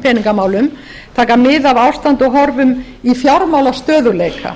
peningamálum taka mið af ástandi og horfum í fjármálastöðugleika